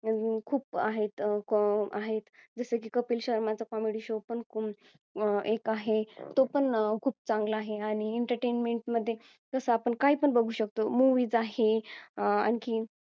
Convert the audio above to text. खूप आहेत अं आहेत जसं की कपिल शर्मा च comedy show पण एक आहे तो पण खूप चांगला आहे आणि entertainment मध्ये जसं आपण काही पण बघू शकतो movies आहे आणखी